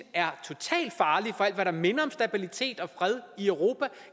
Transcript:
er totalt farlig for alt hvad der minder om stabilitet og fred i europa